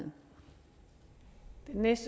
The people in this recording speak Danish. hvis